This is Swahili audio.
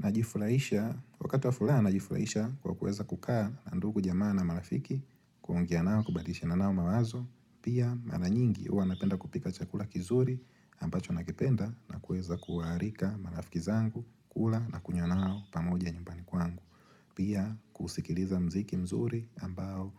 Najifurahisha, wakati wa furaha najifurahisha kwa kuweza kukaa na ndugu jamaa na marafiki kuongea nao kubadilishana nao mawazo Pia mara nyingi huwa napenda kupika chakula kizuri ambacho nakipenda na kuweza kuwaarika marafiki zangu kula na kunywa nao pamoja nyumbani kwangu Pia kusikiliza muziki mzuri ambao